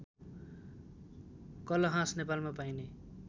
कलहाँस नेपालमा पाइने